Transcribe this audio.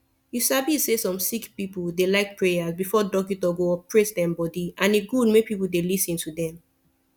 u sabi say som sicki pipu de like prayas befor dockito go operate dem body and e gud make pple dey lis ten to dem